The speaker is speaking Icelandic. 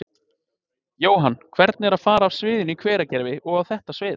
Jóhann: Hvernig er að fara af sviðinu í Hveragerði og á þetta svið?